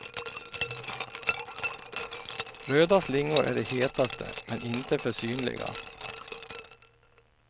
Röda slingor är det hetaste, men inte för synliga.